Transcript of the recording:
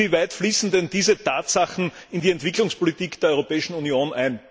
Inwieweit fließen denn diese Tatsachen in die Entwicklungspolitik der Europäischen Union ein?